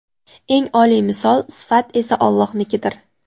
Eng oliy misol (sifat) esa Allohnikidir.